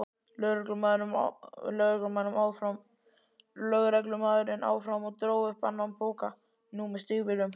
lögreglumaðurinn áfram og dró upp annan poka, nú með stígvélum.